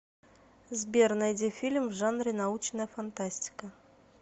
сбер найди фильм в жанре научная фантастика